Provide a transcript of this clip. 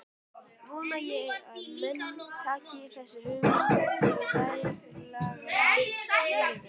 Vona ég að menn taki þessa hugmynd til rækilegrar yfirvegunar.